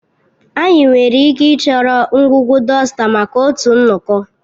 Anyị nwere ike ịchọrọ ngwugwu dọsta maka otu nnọkọ